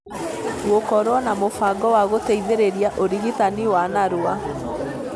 gũkorũo na mũbango wa gũteithĩrĩria ũrigitani wa narua.